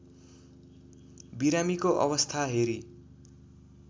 बिरामीको अवस्था हेरी